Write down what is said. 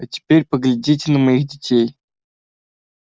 а теперь поглядите на моих детей